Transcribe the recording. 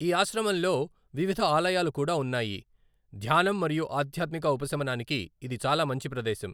ఈ ఆశ్రమంలో వివిధ ఆలయాలు కూడా ఉన్నాయి, ధ్యానం మరియు ఆధ్యాత్మిక ఉపశమనానికి ఇది చాలా మంచి ప్రదేశం.